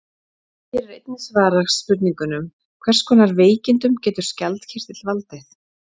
Hér er einnig svarað spurningunum: Hvers konar veikindum getur skjaldkirtill valdið?